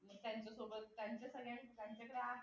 त्यांच्यासोबत त्यांच्यासगळयाच्या त्यांच्या त्या